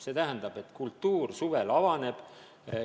See tähendab, et kultuur suvel avaneb.